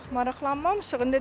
Yox, maraqlanmamışıq.